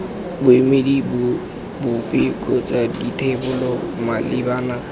boemedi bope kgotsa dithebolo malebana